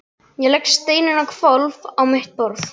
Ég legg steininn á hvolf á mitt borðið.